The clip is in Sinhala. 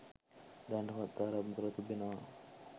දැනටමත් ආරම්භ කර තිබෙනවා.